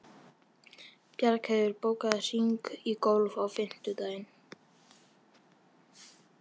Reynt var að hreyfa það en ekkert gekk.